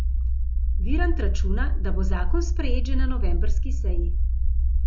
Virant računa, da bo zakon sprejet že na novembrski seji.